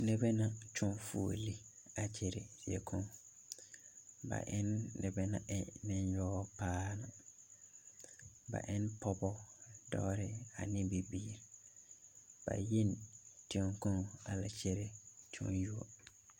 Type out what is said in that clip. Noba la kyɔŋ fuolii a gɛrɛ ziekaŋ ba eɛ noba naŋ e nenyaga paa na ba eɛ pɔgeba dɔba ane bibiiri ba yi la teŋa kaŋ a la gɛrɛ tenyuo